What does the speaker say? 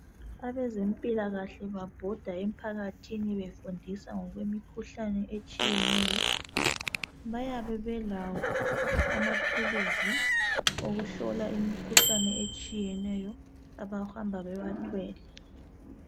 Abezempilakahle babhoda emphakathini befundisa ngokwemikhuhlane etshiyeneyo. Bayabe beiawo amathuluzi okuhlola imikhuhlane etshiyeneyo, abahamba bewathwele.